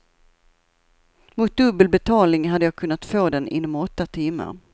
Mot dubbel betalning hade jag kunnat få den inom åtta timmar.